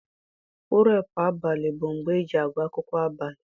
Purepu abalị bụ mgbe eji agụ akwụkwọ abalị.